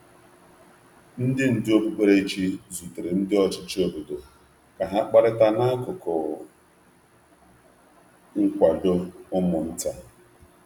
Ndị ndú okpukperechi zutere ndị ọchịchị obodo ka ha kparịta n’akụkụ nkwado ụmụ nta.